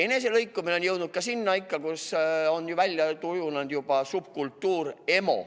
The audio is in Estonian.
Eneselõikumine on nüüd jõudnud selleni, et on välja kujunenud juba emo subkultuur.